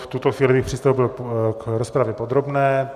V tuto chvíli bych přistoupil k rozpravě podrobné.